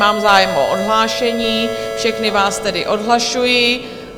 Vnímám zájem o odhlášení, všechny vás tedy odhlašuji.